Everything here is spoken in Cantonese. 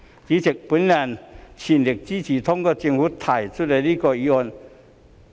主席，我全力支持通過政府提出的這項議案。